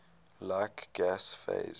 like gas phase